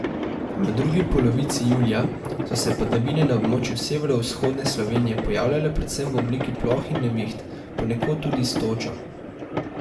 V drugi polovici julija so se padavine na območju severovzhodne Slovenije pojavljale predvsem v obliki ploh in neviht, ponekod tudi s točo.